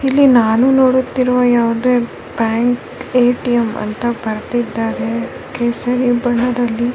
ಹಾಗೆ ಬೇರೆ ಇನ್ನೊಂದ್ಕಡೆ ಹೋದೆ ಅಲ್ಲೂ ಸಿಗ್ಲಿಲ್ಲ ಮತ್ತೆ ಕರ್ನಾಟಕ ಅಂತ ಒಂದು ಎ_ಟಿ_ಎಮ್ ಗ್ ಹೋದೆ ಅಲ್ಲಿ --